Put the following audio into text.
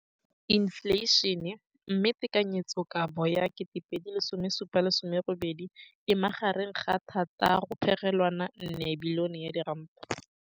Infleišene, mme tekanyetsokabo ya 2017, 18, e magareng ga R6.4 bilione.